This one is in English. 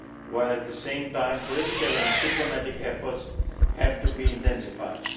while at the same time political and diplomatic efforts have to be intensified.